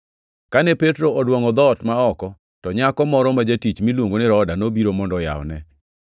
Kane Petro oduongʼo dhoot ma oko, to nyako moro ma jatich miluongo ni Roda nobiro mondo oyawne.